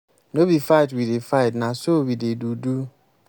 no be fight we dey fight na so we dey do. do.